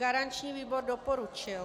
Garanční výbor doporučil.